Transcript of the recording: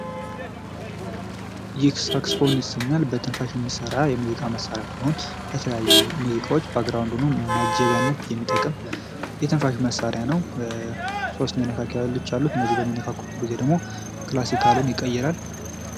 ይህ ሳክስፎን ይሰኛል። በትንፋሽ የሚሰራ የሙዚቃ መሣሪያ ሲሆን፤ የተለያዩ ሙዚቃዎች ባግራውንድ ሆኖ ማጀቢያነት የሚጠቅም የትንፋሽ መሣሪያ ነው። 3 መነካኪያዎች አሉት፤ እነዚህ በሚነካኩበት ጊዜ ደግሞ ክላሲካሉን ይቀየራል።